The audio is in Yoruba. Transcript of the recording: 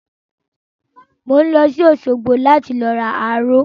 Mo ń lọ sí òsogbo láti lọ ra aró